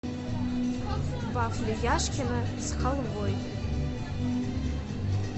вафли яшкино с халвой